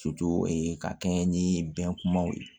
ka kɛɲɛ ni bɛnbaw ye